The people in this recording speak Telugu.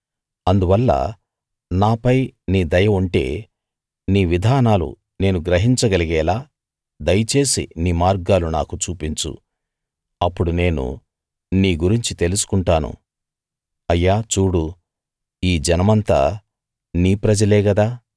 అందువల్ల నాపై నీ దయ ఉంటే నీ విధానాలు నేను గ్రహించగలిగేలా దయచేసి నీ మార్గాలు నాకు చూపించు అప్పుడు నేను నీ గురించి తెలుసుకుంటాను అయ్యా చూడు ఈ జనమంతా నీ ప్రజలే గదా